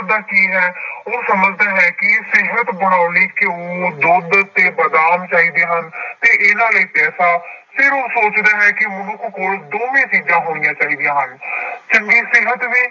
ਦਾ ਕੀ ਹੈ ਉਹ ਸਮਝਦਾ ਹੈ ਕਿ ਸਿਹਤ ਬਣਾਉਣ ਲਈ ਘਿਓ, ਦੁੱਧ ਤੇ ਬਾਦਾਮ ਚਾਹੀਦੇ ਹਨ ਤੇ ਇਹਨਾਂ ਲਈ ਪੈਸਾ, ਫਿਰ ਉਹ ਸੋਚਦਾ ਹੈ ਕਿ ਮਨੁੱਖ ਕੋਲ ਦੋਵੇਂ ਚੀਜ਼ਾਂ ਹੋਣੀਆਂ ਚਾਹੀਦੀਆਂ ਹਨ ਚੰਗੀ ਸਿਹਤ ਵੀ